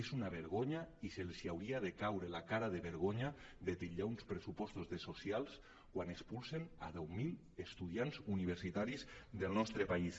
és una vergonya i els hauria de caure la cara de vergonya de titllar uns pressupostos de socials quan expulsen deu mil estudiants universitaris del nostre país